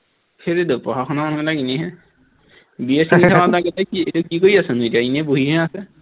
সেইটোৱেইতো পঢ়া শুনা মানুহবিলাক এনেইহে, BA এইটো কি এইটো কি কৰি আছেনো এতিয়া এনেই বহিহে আছে